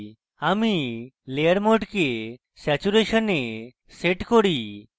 আমি layer mode saturation এ set করি